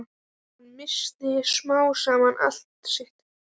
Hann missti smám saman allt sitt.